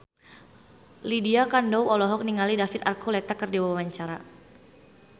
Lydia Kandou olohok ningali David Archuletta keur diwawancara